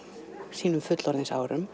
sínum